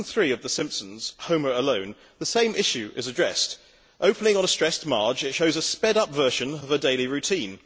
In season three of the Simpsons, Homer Alone', the same issue is addressed. Opening on a stressed Marge, it shows a sped up version of her daily routine.